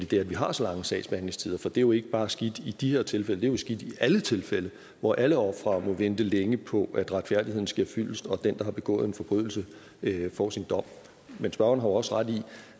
det at vi har så lange sagsbehandlingstider for det er jo ikke bare skidt i de her tilfælde det er skidt i alle tilfælde hvor alle ofre må vente længe på at retfærdigheden sker fyldest og den der har begået en forbrydelse får sin dom men spørgeren har også ret i